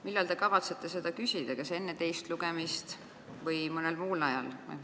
Millal te kavatsete seda luba küsida, kas enne teist lugemist või mõnel muul ajal?